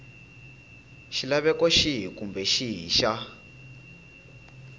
xilaveko xihi kumbe xihi xa